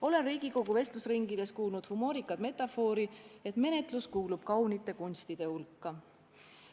Olen Riigikogu vestlusringides kuulnud humoorikat metafoori, et menetlus kuulub kaunite kunstide hulka.